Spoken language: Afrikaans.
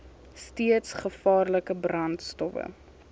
steeds gevaarlike brandstowwe